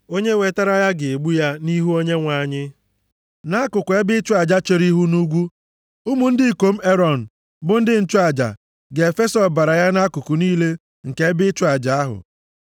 Onye wetara ya ga-egbu ya nʼihu Onyenwe anyị nʼakụkụ ebe ịchụ aja chere ihu nʼugwu. Ụmụ ndị ikom Erọn, bụ ndị nchụaja, ga-efesa ọbara ya nʼakụkụ niile nke ebe ịchụ aja ahụ.